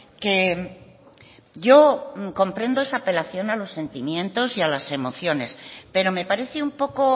que yo comprendo esa apelación a los sentimientos y las emociones pero me parece un poco